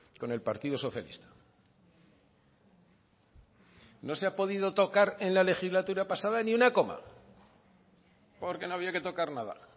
con el partido socialista no se ha podido tocar en la legislatura pasada ni una coma porque no había que tocar nada